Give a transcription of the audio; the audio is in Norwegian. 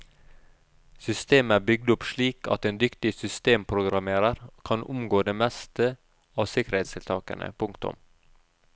Systemet er bygd opp slik at en dyktig systemprogrammerer kan omgå det meste av sikkerhetstiltakene. punktum